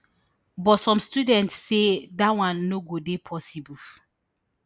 but some students say dat one no go dey possible